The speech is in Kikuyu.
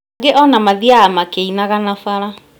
Angĩ ona mathiaga makĩinaga na bara